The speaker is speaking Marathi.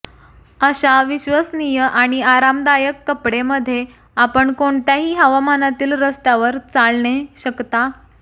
अशा विश्वसनीय आणि आरामदायक कपडे मध्ये आपण कोणत्याही हवामानातील रस्त्यावर चालणे शकता